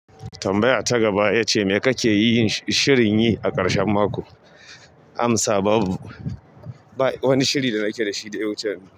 Tambaya ta gaba yace, me kake yi shirin yi a ƙarshen mako? Amsa babu, ba wani shiri da nake dashi da ya wuce yanz.